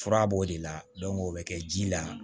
Fura b'o de la o bɛ kɛ ji la